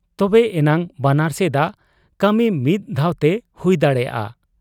ᱛᱚᱵᱮ ᱮᱱᱟᱝ ᱵᱟᱱᱟᱨ ᱥᱮᱫᱟᱜ ᱠᱟᱹᱢᱤ ᱢᱤᱫ ᱫᱷᱟᱣᱛᱮ ᱦᱩᱭ ᱫᱟᱲᱮᱭᱟᱟᱜ ᱟ ᱾